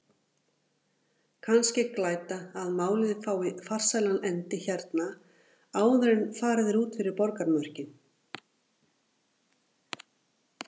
Kannski glæta að málið fái farsælan endi hérna- áður en farið er út fyrir borgarmörkin!